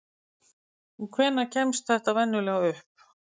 Og hvenær kemst þetta venjulega upp?